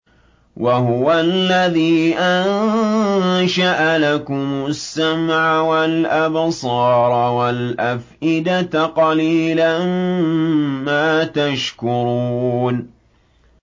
وَهُوَ الَّذِي أَنشَأَ لَكُمُ السَّمْعَ وَالْأَبْصَارَ وَالْأَفْئِدَةَ ۚ قَلِيلًا مَّا تَشْكُرُونَ